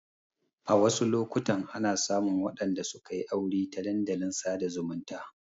A wasu lokutan ana samun waɗanda sukayi aure ta dandalin sada zumunta